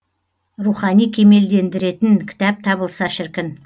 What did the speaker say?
рухани кемелдендіретін кітап табылса шіркін